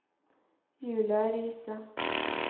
Julia Riise